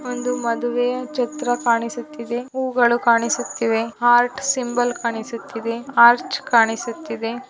ಒಂದು ಮದುವೆಯ ಚಿತ್ರ ಕಾಣಿಸುತ್ತಿದೆ ಹೂವುಗಳು ಕಾಣಿಸುತ್ತೇವೆ ಹಾರ್ಟ್ ಸಿಂಬಲ್ ಕಾಣಿಸುತ್ತಿದೆ ಆರ್ಚ್ ಕಾಣಿಸುತ್ತಿದೆ.